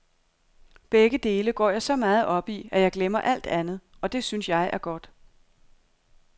Begge dele går jeg så meget op i, at jeg glemmer alt andet, og det synes jeg er godt.